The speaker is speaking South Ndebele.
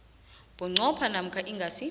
bunqopha namkha ingasi